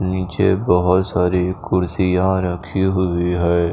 नीचे बहुत सारी कुर्सियाँ रखी हुई हैं।